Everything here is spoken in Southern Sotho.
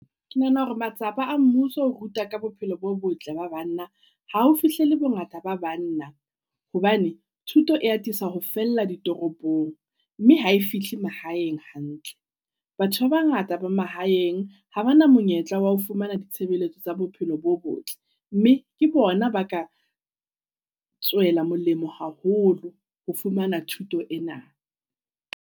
Ke nahana hore matsapa a mmuso ho ruta ka bophelo bo botle ba banna, ha o fihle le bo ngata ba banna. Hobane thuto e atisa ho fella ditoropong mme ha e fihle mahaeng hantle. Batho ba bangata ba mahaeng ha ba na monyetla wa ho fumana ditshebeletso tsa bophelo bo botle. Mme ke bona ba ka tswela molemo haholo ho fumana thuto ena.